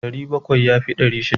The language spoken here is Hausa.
Ɗari bakwai ya fi ɗari shida.